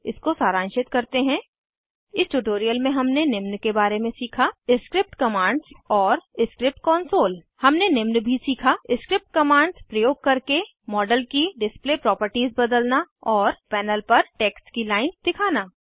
इसको सारांशित करते हैं इस ट्यूटोरियल में हमने निम्न के बारे में सीखा स्क्रिप्ट कमांड्सऔर स्क्रिप्ट कंसोल हमने निम्न भी सीखा स्क्रिप्ट कमांड्स प्रयोग करके मॉडल की डिस्प्ले प्रॉपर्टीज़ बदलना और पैनल पर टेक्स्ट की लाइन्स दिखाना